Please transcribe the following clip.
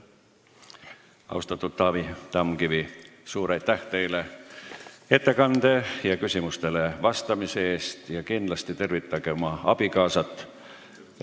Austatud Taavi Tamkivi, suur aitäh teile ettekande ja küsimustele vastamise eest ja tervitage kindlasti oma abikaasat!